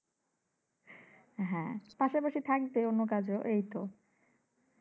পাশাপাশি থাকবে অন্য কাজও এইতো